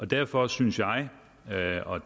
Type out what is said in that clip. derfor synes jeg jeg og